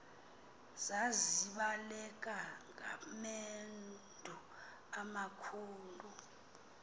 zazibaleka ngamendu amakhulu